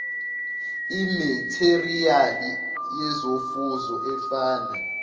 imetheriyali yezofuzo efana